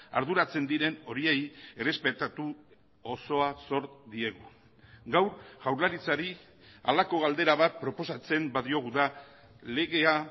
arduratzen diren horiei errespetatu osoa zor diegu gaur jaurlaritzari halako galdera bat proposatzen badiogu da legea